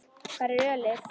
Hvar er ölið?